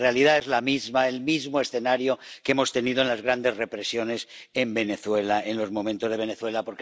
En realidad, el mismo escenario que hemos tenido en las grandes represiones en Venezuela, en los momentos de Venezuela.